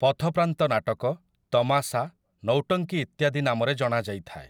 ପଥପ୍ରାନ୍ତ ନାଟକ, ତମାସା, ନୌଟଙ୍କି ଇତ୍ୟାଦି ନାମରେ ଜଣାଯାଇଥାଏ ।